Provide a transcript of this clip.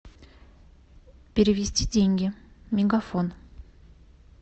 перевести деньги мегафон